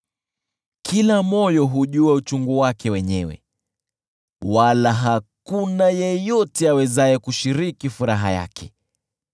Kila moyo hujua uchungu wake wenyewe, wala hakuna yeyote awezaye kushiriki furaha yake.